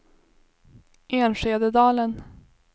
Enskededalen